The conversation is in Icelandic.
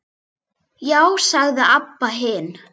Já, sagði Abba hin.